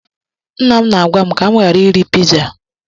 Nna m na-agwa m ka m ghara iri piza.